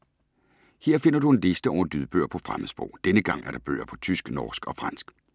Her finder du en liste over nye lydbøger på fremmedsprog. Denne gang er der bøger på tysk, norsk og fransk.